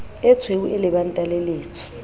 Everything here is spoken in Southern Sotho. etshweu e lebanta le letsho